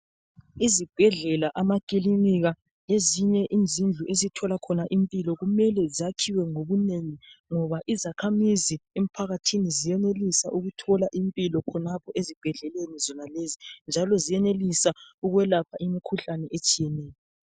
Izibhedlela amakilinika lezinye izindlu esithola khona impilo kumele zakhiwe ngobunengi ngoba izakhamizi emphakathini ziyenelisa ukuthola impilo khonapho ezibhedleleni zona lezi njalo ziyenelisa ukwelapha imikhihlane etshiyeneyo.